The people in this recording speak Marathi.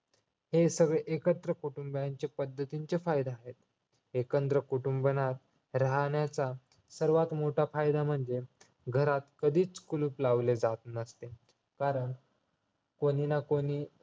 हे सगळे एकत्र कुटुंबियांचे पद्धतीचे फायदे आहेत एकत्र कुटुंबाना राहण्याचा सर्वात मोठा फायदा म्हणजे घरात कधीच कुलूप लावले जात नसते कारण कोणी ना कोणी